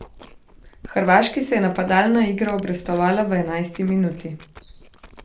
Hrvaški se je napadalna igra obrestovala v enajsti minuti.